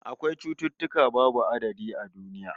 Akwai cututtuka babu adadi a duniya